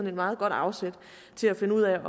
et meget godt afsæt til at finde ud af